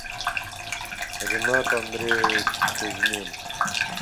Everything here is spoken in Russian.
ренат андреевич кузьмин